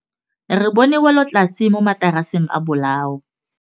Re bone wêlôtlasê mo mataraseng a bolaô.